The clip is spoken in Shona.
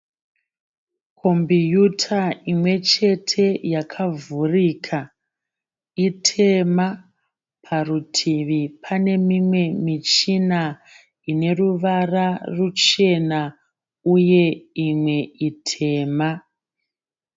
Kombiyuta imwechete yakavhurika itema. Parutivi pane mimwe michina ine ruvara ruchena uye imwe itema.